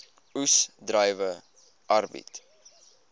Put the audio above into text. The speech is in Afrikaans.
oes druiwe arbeid